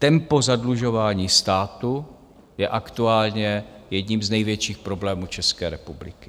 Tempo zadlužování státu je aktuálně jedním z největších problémů České republiky.